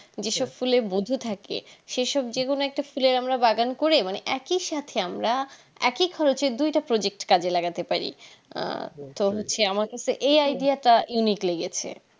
যে সব ফুলে মধু থাকে সেই সব যে কোনো একটা ফুলের আমরা বাগান করে একই সাথে আমরা একই খরচে দুইটা project কাজে লাগাতে পারি আহ তো হচ্ছে আমারকাছে এই idea টা unique লেগেছে